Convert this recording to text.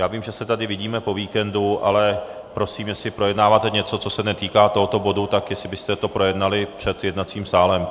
Já vím, že se tady vidíme po víkendu, ale prosím, jestli projednáváte něco, co se netýká tohoto bodu, tak jestli byste to projednali před jednacím sálem.